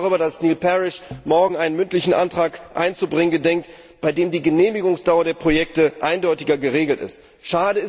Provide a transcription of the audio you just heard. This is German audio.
Ich freue mich darüber, dass Neil Parish morgen einen mündlichen Antrag einzubringen gedenkt, durch den die Genehmigungsdauer der Projekte eindeutiger geregelt wird.